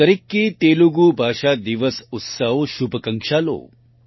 અન્દરિકી તેલુગુ ભાષા દિનોત્સવ શુભાકાંક્ષલુ